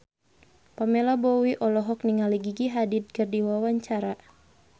Pamela Bowie olohok ningali Gigi Hadid keur diwawancara